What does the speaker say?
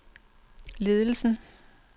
ledelsen